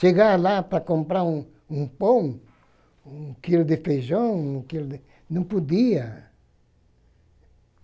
Chegar lá para comprar um um pão, um quilo de feijão, um quilo de, não podia.